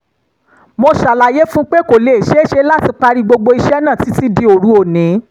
mo ṣàlàyé fún un pé kò lè ṣeé ṣe láti parí gbogbo iṣẹ́ náà títí di òru òní